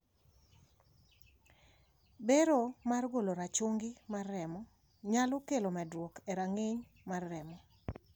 Bero mar golo rachungi mar remo nyalo kelo medruok e rang`iny mar remo.